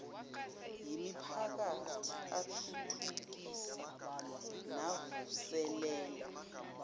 yimiphakathi athuthukisa navuselela